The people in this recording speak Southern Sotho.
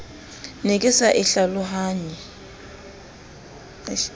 ne ke sa e hlalohanye